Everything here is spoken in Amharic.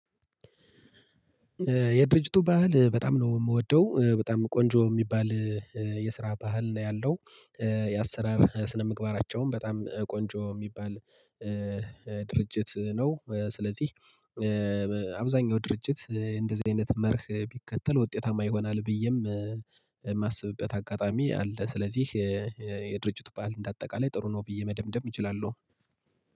የድርጅቱ ባህል በጣም ነው የምወደው በጣም ቆንጆ የሚባል የስራ ባህል ነው ያለው የአሰራር ስነምግባራቸውም በጣም ቆንጆ የሚባል ድርጅት ነው። ስለዚህ አብዛኛው ድርጅት እንደዚህ አይነት መርህ ቢከተል ውጤታማ ይሆናል ብዬም የማስብበት አጋጣሚ አለ። ስለዚህ የድርጅት ባህል እንደ አጠቃላይ ጥሩ ነው ብዬ መደምደም እችላለሁ።